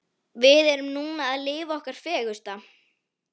Við erum núna að lifa okkar fegursta.